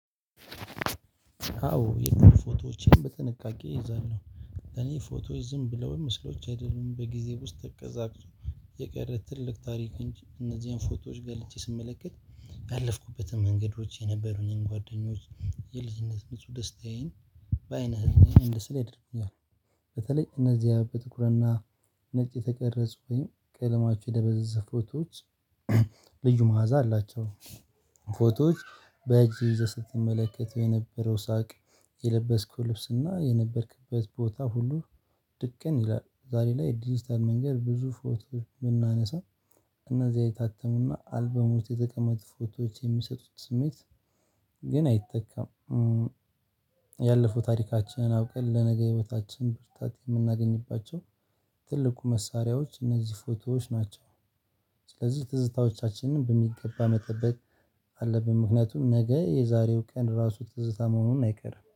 አዎ የትም ፎቶዎችን በጥንቃቄ እይዛለሁ፤ እኔ ፎቶዎች ዝም ብለው ምስሎች አይደሉም በጊዜ ውስጥ ተቀዛቅዞ የቀረ ትልቅ ታሪክ እንጂ እነዚህን ፎቶዎች ገልጨ ስመለከት። አዎ የትም ፎቶዎችን በጥንቃቄ እይዛለሁ፤ እኔ ፎቶዎች ዝም ብለው ምስሎች አይደሉም። በጊዜ ውስጥ ተቀዛቅዞ የቀረ ትልቅ ታሪክ እንጂ እነዚህን ፎቶዎች ገልጨ ስመለከት ልዩ መዓዛ አላቸው። ፎቶዎች በእጅ ይዘህ ስትመለከተው የነበረው ሳቅ የለበስከው ልብስና የነበርክበት ቦታ ሁሉ። ድቅን ይላል ዛሬ ላይ ዲጂታል መንገድ ብዙ ፎቶዎች የምናነሳ እነዚህ የታተሙና አልበሙት የተቀመጡ ፎቶዎች የሚሰጡት ስሜት። ግን አይተካም፤። ያለፈው ታሪካችንን አውቀን ለነገ ህይወታችን ብርታት የምናገኝባቸው ትልቁ መሳሪያዎች እነዚህ ፎቶዎች ናቸው። ስለዚህ ትዝታዎቻችንን በሚገባ መጠበቅ አለብን። ምክንያቱም ነገ የዛሬው ቀን ራሱ ትዝታ መሆኑን አይቀርም፤።